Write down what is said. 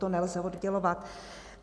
To nelze oddělovat.